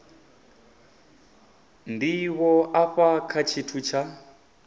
ndivho afha kha tshithu tsha